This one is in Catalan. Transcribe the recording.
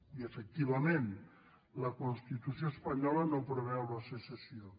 i efectivament la constitució espanyola no preveu la secessió